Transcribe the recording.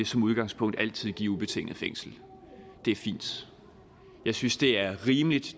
som udgangspunkt altid skal give ubetinget fængsel det er fint jeg synes det er rimeligt